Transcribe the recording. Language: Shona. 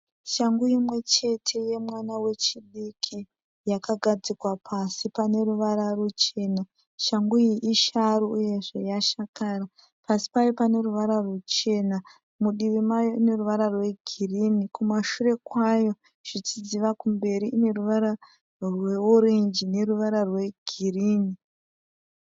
Shangu imwechete yemwana wechidiki. Yakagadzikwa pasi paneruvara ruchena. Shangu iyi isharu iyezve yashakara. Pasi payo paneruvara ruchena, mudivi mayo ineruvara rwegirinhi, kumashure kwayo zvichidziva kumberi ineruvara rweorenji neruvara rwegirinhi.